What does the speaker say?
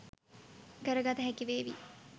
කරගත හැකිවේවි.